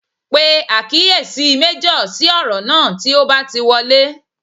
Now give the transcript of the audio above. Pe àkíyèsí méjọ̀ sí ọ̀rọ̀ náà tí o bá ti wọlé